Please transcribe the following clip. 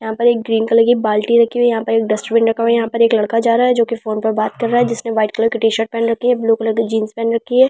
यहां पर एक ग्रीन कलर की बाल्टी रखी हुई है यहां पर डस्टबिन रखा हुआ है यहां पर एक लड़का जा रहा है जो की फोन पर बात कर रहा है जिसने व्हाइट कलर की टी शर्ट पहन रखी है ब्लू कलर की जीन्स पहन रखी है।